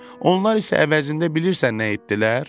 Onlar isə əvəzində bilirsən nə etdilər?